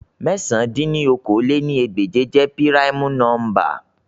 Mẹ̀sán dín ní okòó-lé-ní-ẹgbẹ́je jẹ pirimu nọmba